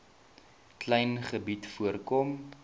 klein gebied voorkom